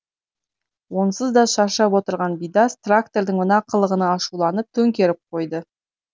онсыз да шаршап отырған бидас трактордың мына қылығына ашуланып төңкеріп қойды